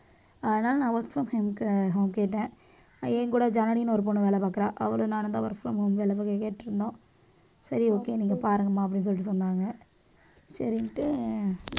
அதனால நான் work from home home க்கு கேட்டேன். என் கூட ஜனனின்னு ஒரு பொண்ணு வேலை பார்க்கிறா. அவளும் நானும் தான் work from home வேலை பாக்க கேட்டிருந்தோம். சரி okay நீங்க பாருங்கம்மா அப்படின்னு சொல்லிட்டு சொன்னாங்க. சரின்னுட்டு